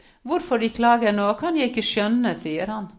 Hvorfor de klager nå, kan jeg ikke skjønne, sier han.